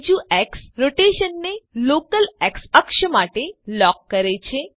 બીજું એક્સ રોટેશનને local x અક્ષ માટે લોક કરે છે